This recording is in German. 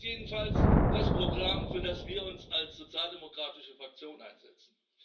Das ist jedenfalls das Programm, für das wir uns als sozialdemokratische Fraktion einsetzen.